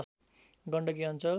गण्डकी अञ्चल